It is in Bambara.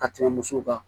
Ka tɛmɛ musow kan